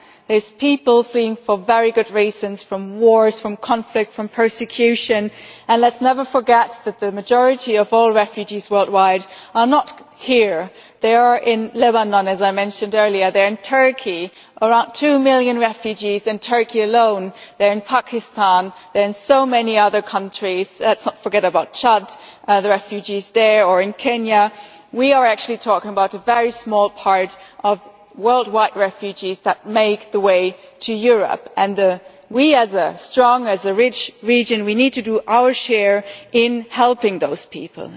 There are people fleeing for very good reasons from wars, from conflict, from persecution and let us never forget that the majority of all refugees worldwide are not here, they are in Lebanon, as I mentioned earlier, they are in Turkey, around two million refugees in Turkey alone, they are in Pakistan, they are in so many other countries, let us not forget about Chad, the refugees there, or in Kenya. We are actually talking about a very small proportion of worldwide refugees that make their way to Europe and we, as a strong, as a rich region, need to do our share in helping those people.